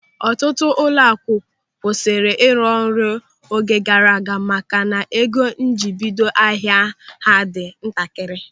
Ọtụtụ ụlọaku kwụsịrị ịrụ ọrụ oge gaara aga maka na ego njiribido ahịa ha dị ntakịrị.